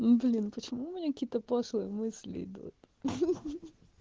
блин почему у меня какие-то пошлые мысли идут